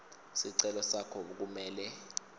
sicelo sakho kumele